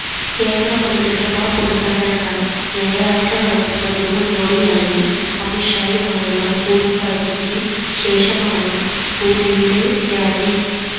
കേന്ദ്ര മന്ത്രിസഭാ പുനഃസംഘടന ഞായറാഴ്ച നടക്കുന്നതിനു മുന്നോടിയായി അമിത് ഷായുമായുള്ള കൂടിക്കാഴ്ചയ്ക്ക് ശേഷമാണ് റൂഡിയുടെ രാജി